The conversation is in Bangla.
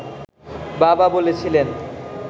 বাবা বলেছিলেন